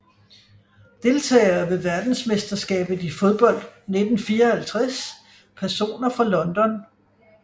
Deltagere ved verdensmesterskabet i fodbold 1954 Personer fra London